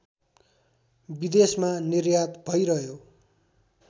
विदेशमा निर्यात भइरह्यो